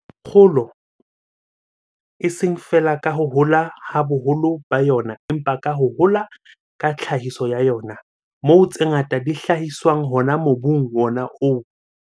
Kgolo, eseng feela ka ho hola ha boholo ba yona empa ka ho hola ka tlhahiso ya yona, moo tse ngata di hlahiswang hona mobung wona oo.